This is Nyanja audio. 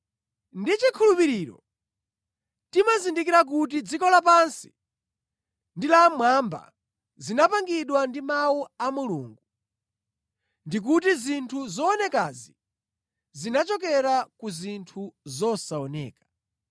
Ndi chikhulupiriro timazindikira kuti dziko lapansi ndi la mmwamba zinapangidwa ndi Mawu a Mulungu, ndikuti zinthu zoonekazi zinachokera ku zinthu zosaoneka.